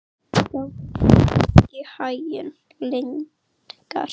Gangi þér allt í haginn, Lyngar.